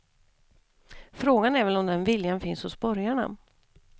Frågan är väl om den viljan finns hos borgarna.